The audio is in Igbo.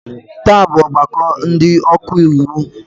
Taa bụ ọgbakọ ndị ọka iwu.